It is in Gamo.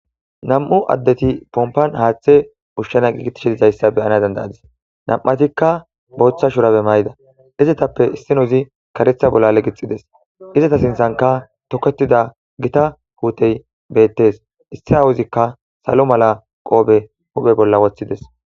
Nam'u addeti pompan haaththe ushshana giigitishidizayssa beyana dandayadis nam'atikka booththa shurabe mayida izetappe issino izi karetha bolla legixides izeta sinthanka toketida gita huutey beettes issi aawuzikka salo mala qoobe huphe bolla woththides.